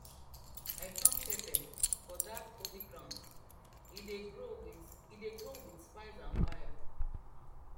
i farm pepper for dat holy ground e dey grow wit dey grow wit spice and faya